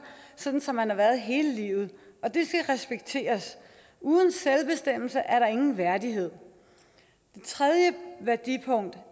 sådan som man har været hele livet og det skal respekteres uden selvbestemmelse er der ingen værdighed det tredje værdipunkt